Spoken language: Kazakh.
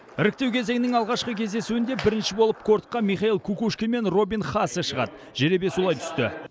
іріктеу кезеңінің алғашқы кездесуінде бірінші болып кортқа михаил кукушкин мен робин хасе шығады жеребе солай түсті